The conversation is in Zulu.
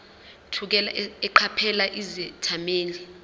thukela eqaphela izethameli